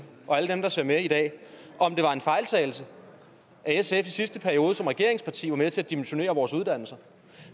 og alle dem der ser med i dag om det var en fejltagelse at sf i sidste periode som regeringsparti var med til at dimensionere vores uddannelser